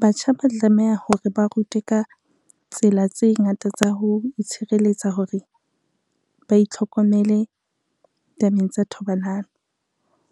Batjha ba tlameha hore ba rutwe ka tsela tse ngata tsa ho itshireletsa hore, ba itlhokomele tabeng tsa thobalano